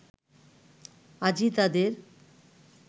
আজই তাদের